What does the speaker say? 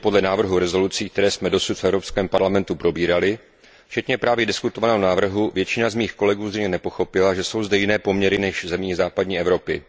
Soudě podle návrhů rezolucí, které jsme dosud v Evropském parlamentu probírali, včetně právě diskutovaného návrhu, většina z mých kolegů zřejmě nepochopila, že jsou zde jiné poměry než v zemích západní Evropy.